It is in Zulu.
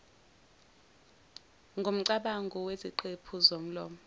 ngomcabango ngeziqephu zomlomo